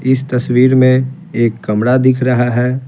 इस तस्वीर में एक कमरा दिख रहा है।